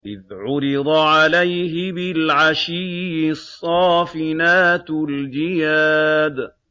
إِذْ عُرِضَ عَلَيْهِ بِالْعَشِيِّ الصَّافِنَاتُ الْجِيَادُ